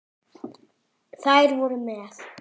Þær voru með